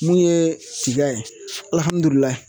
Mun ye tiga ye alihamudulilayi